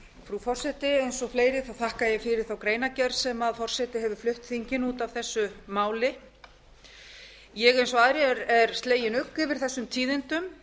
frú forseti eins og fleiri þakka ég fyrir þá greinargerð sem forseti hefur flutt þinginu út af þessu máli eins og aðrir er ég slegin ugg yfir þessum tíðindum